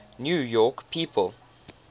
new york people